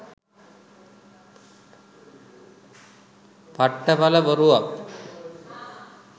පට්ට පල බොරුවක්.